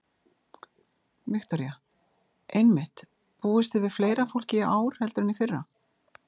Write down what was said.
Viktoría: Einmitt, búist þið við fleira fólki í ár heldur en í fyrra?